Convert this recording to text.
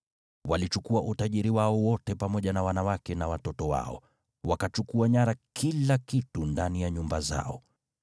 Walichukua utajiri wao wote pamoja na wanawake na watoto wao, wakachukua nyara kila kitu ndani ya nyumba zao.